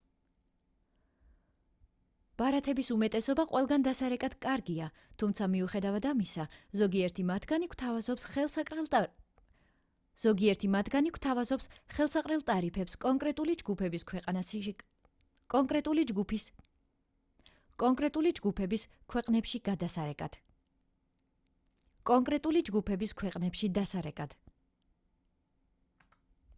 ბარათების უმეტესობა ყველგან დასარეკად კარგია თუმცა მიუხედავად ამისა ზოგიერთი მათგანი გთავაზობთ ხელსაყრელ ტარიფებს კონკრეტული ჯგუფების ქვეყნებში დასარეკად